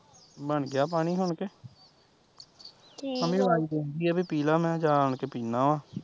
ਬਣ ਗਿਆ ਪਾਣੀ ਹੁਣ ਕਿ ਮੰਮੀ ਆਵਾਜ਼ ਦੇਂਦੀ ਐ ਵੇ ਪੀਲਾ ਮੈਂ ਜਾਣ ਕੇ ਪੀਨਾ ਵਾਂ